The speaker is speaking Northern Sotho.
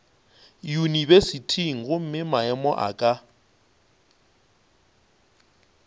yunibesithing gomme maemo a ka